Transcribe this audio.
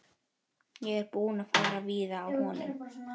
Ég er búinn að fara víða á honum.